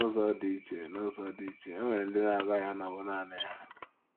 N’ụzọ dị iche N’ụzọ dị iche, e nwere ndị na - agaghị anọwụ nanị ha.